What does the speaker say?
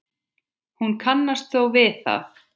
Hún kannast þó við það.